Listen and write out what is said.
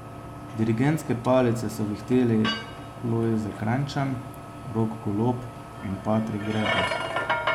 Dirigentske palice so vihteli Lojze Krajnčan, Rok Golob in Patrik Greblo.